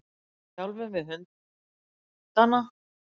Svo þjálfum við hundana.